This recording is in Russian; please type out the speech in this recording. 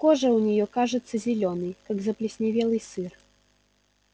кожа у неё кажется зелёной как заплесневелый сыр